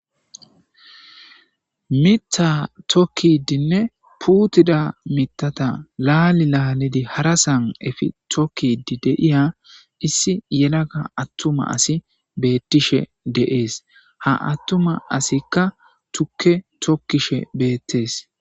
Miitha tokkidinne puutida mitata laali laalidi hara san efi tokkidi deiya issi yelaga attuma asi beettishe deees ha attuma asikka tukke tokkishe beettees.